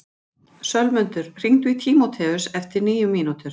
Sölmundur, hringdu í Tímótheus eftir níu mínútur.